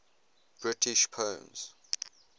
british poems